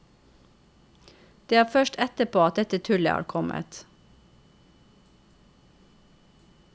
Det er først etterpå at dette tullet har kommet.